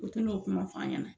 U tɛ n'o kuma f'n ɲɛ na.